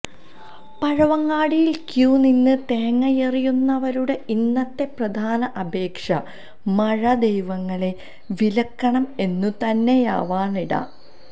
പഴവങ്ങാടിയിൽ queue നിന്ന് തേങ്ങയെറിയുന്നവരുടെ ഇന്നത്തെ പ്രധാന അപേക്ഷ മഴ ദൈവങ്ങളെ വിലക്കണം എന്നു തന്നെയാവാനാണിട